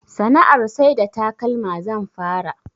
Sana'ar sai da takalma zan fara